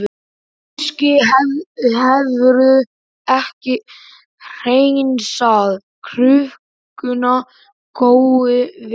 Kannski hefurðu ekki hreinsað krukkuna nógu vel.